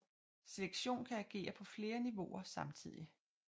Selektion kan agere på flere niveauer samtidigt